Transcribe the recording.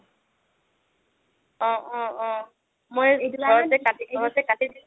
অ' অ', মই ঘৰতে কাটিছো